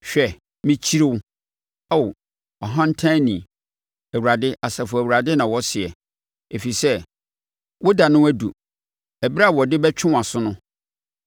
“Hwɛ, mekyiri wo, Ao ɔhantanni.” Awurade, Asafo Awurade na ɔseɛ, “ɛfiri sɛ wo da no aduru ɛberɛ a wɔde bɛtwe wʼaso no.